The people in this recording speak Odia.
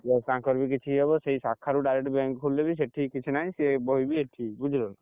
ତାଙ୍କର ବି କିଛି ଇଏ ହବ ସେଇ ଶାଖାରୁ direct bank ଖୋଲିଲେ ବି ସେଇଠି କିଛି ନାହିଁ ସିଏ ବହିବି ଏଇଠି ବୁଝିଲ ନା!